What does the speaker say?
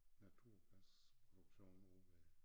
Naturgasproduktion ovre ved